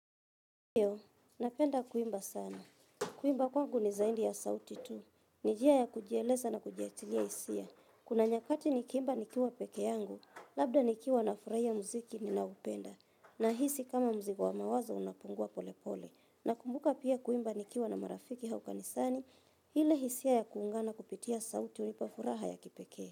Hio, napenda kuimba sana. Kuimba kwangu ni zaidi ya sauti tu. Nijia ya kujieleza na kujiachilia hisia. Kuna nyakati nikiimba nikiwa pekee yangu, labda nikiwa na furahia muziki ni na upenda. Na hisi kama mzigo wa mawazo unapungua pole pole. Na kumbuka pia kuimba nikiwa na marafiki auka nisani, hile hisia ya kuungana kupitia sauti unipafuraha ya kipekee.